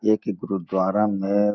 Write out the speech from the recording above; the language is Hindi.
ये एक गुरुद्वारा में --